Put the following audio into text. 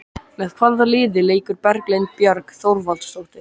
Með hvaða liði leikur Berglind Björg Þorvaldsdóttir?